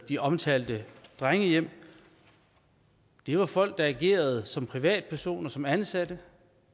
de omtalte drengehjem var folk der agerede som privatpersoner som ansatte